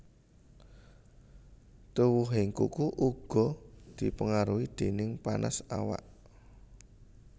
Tuwuhing kuku uga dipengaruhi déning panas awak